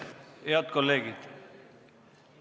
Head kolleegid!